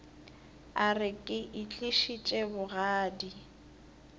a re ke itlišitše bogadi